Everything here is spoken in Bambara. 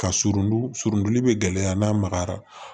Ka surun surun bɛ gɛlɛya n'a magayara